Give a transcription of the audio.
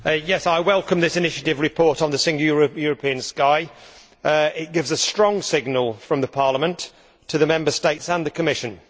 Madam President, I welcome this own initiative report on the Single European Sky' it gives a strong signal from the Parliament to the Member States and the Commission.